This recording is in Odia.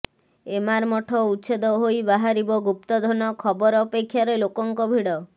ଏମାର ମଠ ଉଚ୍ଛେଦ ହୋଇ ବାହାରିବ ଗୁପ୍ତଧନ ଖବର ଅପେକ୍ଷାରେ ଲୋକଙ୍କ ଭିଡ